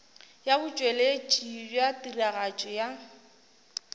ya botšweletši bja tiragatšo ya